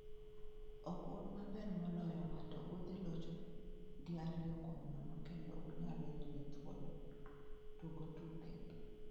"Ok un maber moloyowa to udhi locho gi ariyo kuom nono kendo unyalo yudo thuolo, tugo tuke."